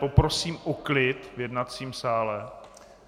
Poprosím o klid v jednacím sále.